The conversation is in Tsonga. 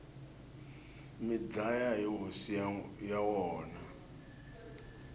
mi dlaya hosi ya wona